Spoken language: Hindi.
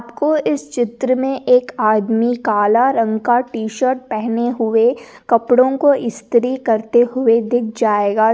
आपको इस चित्र में एक आदमी काला रंग का टीशर्ट पहने हुए कपड़ो को इश्तिरि करते हुए दिख जायेगा।